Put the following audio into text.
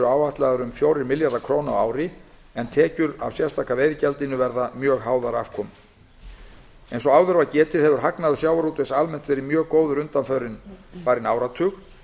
áætlaðar um fjórir milljarðar króna á ári en tekjur af sérstaka gjaldinu verða háðar afkomu eins og áður var getið hefur hagnaður sjávarútvegs almennt verið mjög góður undanfarinn áratug